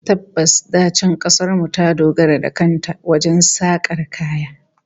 Tabbas, da can kasar mu ta dogara da kan ta wajen sakar kaya